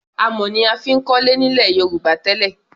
Amọ̀ ni a fi ń kọ́lé nílẹ̀ Yorùbá tẹ́lẹ̀.